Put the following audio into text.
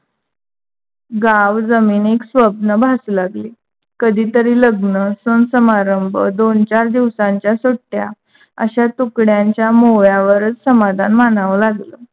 गाव जमीनिक स्वप्न भासू लागले, कधी तरी लग्न सन समारंभ, दोन चार दिवसांच्या सुट्ट्या अशात तुकड्यांच्या मोळ्यावरच समाधान मानाव लागल.